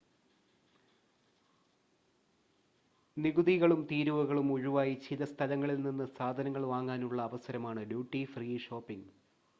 നികുതികളും തീരുവകളും ഒഴിവായി ചില സ്ഥലങ്ങളിൽനിന്ന് സാധനങ്ങൾ വാങ്ങാനുള്ള അവസരമാണ് ഡ്യൂട്ടി ഫ്രീ ഷോപ്പിംങ്